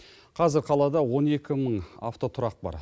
қазір қалада он екі мың автотұрақ бар